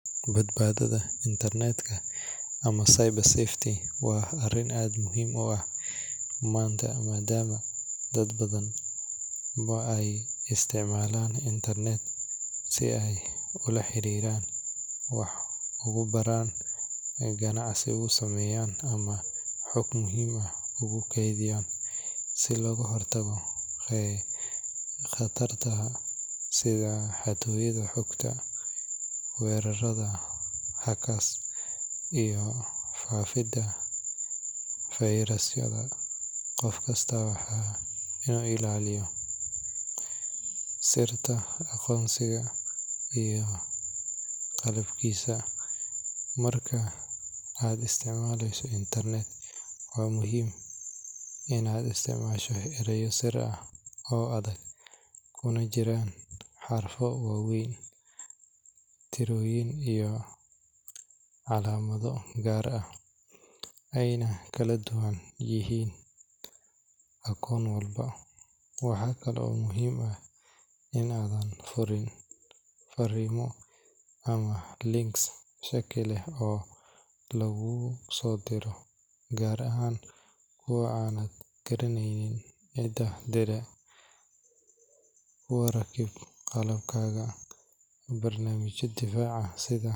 Badbaadada internetka ama cyber safety waa arrin aad muhiim u ah maanta maadaama dad badan ay isticmaalaan internet si ay ula xiriiraan, wax ugu bartaan, ganacsi ugu sameeyaan ama xog muhiim ah ugu kaydiyaan. Si looga hortago khataraha sida xatooyada xogta, weerarrada hackers, iyo faafidda fayrasyada, qof kasta waa inuu ilaaliyo sirta akoonkiisa iyo qalabkiisa. Marka aad isticmaalayso internet, waxaa muhiim ah in aad isticmaasho erayo sir ah oo adag kuna jiraan xarfo waaweyn, tirooyin, iyo calaamado gaar ah, ayna kala duwan yihiin akoon walba. Waxa kale oo muhiim ah in aadan furin fariimo ama links shaki leh oo lagugu soo diro, gaar ahaan kuwa aanad garanayn cidda diray. Ku rakib qalabkaaga barnaamijyo difaac ah sida.